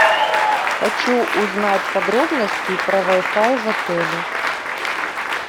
хочу узнать подробности про вай фай в отеле